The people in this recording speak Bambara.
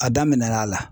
A daminɛna